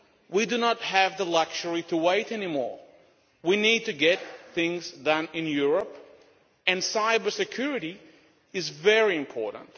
We do not have the luxury to wait anymore. We need to get things done in Europe, and cybersecurity is very important.